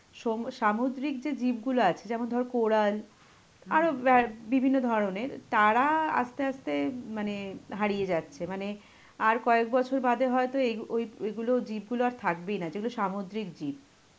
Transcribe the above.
সাম~ সামুদ্রিক যে জীবগুলো আছে যেমন ধরো কোরাল আরো অ্যাঁ বিভিন্ন ধরণের, তারা আস্তে আস্তে মানে হারিয়ে যাচ্ছে. মানে আর কয়েক বছর বাদে হয়তো অ্যাঁ এইগুলো জীবগুলো আর থাকবেই না যেগুলো সামুদ্রিক জীব.